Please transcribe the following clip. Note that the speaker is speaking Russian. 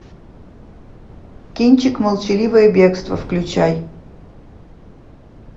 кинчик молчаливое бегство включай